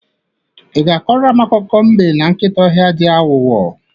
Ị ga-akọrọ m akụkọ mbe na nkịta ọhịa, ndị aghọghọ?